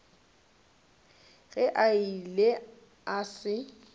ge a ile a se